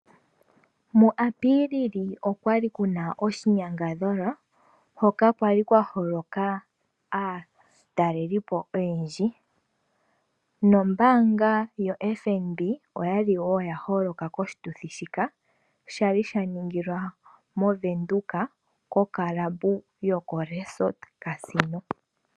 Mu Apilili okwali kuna oshinyangadhalwa hoka kwali kwa holoka aatalelipo oyendji. Nombaanga yoFNB oyali wo ya holoka koshituthi shika shali sha ningilwa moVenduka kokalaba yokoResort Casino.